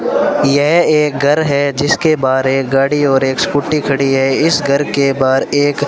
यह एक घर है जिसके बाहर एक गाड़ी और एक स्कूटी खड़ी है इस घर के बाहर एक--